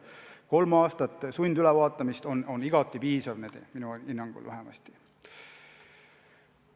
Kolme aasta järel sundülevaatamine on igati piisav, minu hinnangul vähemasti.